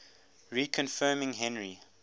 reconfirming henry